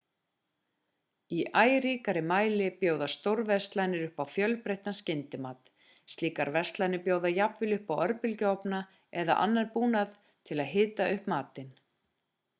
í æ ríkara mæli bjóða stórverslanir upp á fjölbreyttan skyndimat slíkar verslanir bjóða jafnvel upp á örbylgjuofna eða annan búnað til að hita upp matinn